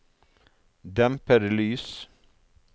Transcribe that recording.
dempede lys